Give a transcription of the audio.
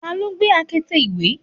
taló gbé akete ìwẹ̀?